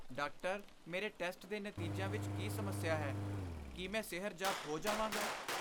Doctor, ਮੇਰੇ test ਦੇ ਨਤੀਜਿਆਂ ਵਿੱਚ ਕੀ ਸਮੱਸਿਆ ਹੈ? ਕੀ ਮੈਂ ਸਿਹਰਜਾਬ ਹੋ ਜਾਵਾਂਗਾ?